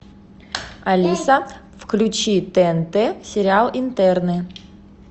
алиса включи тнт сериал интерны